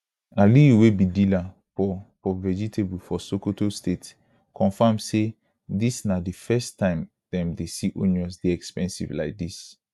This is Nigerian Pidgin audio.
aliyu wey be dealer for for vegetable for sokoto state confam say dis na di first time dem dey see onion dey expensive like dis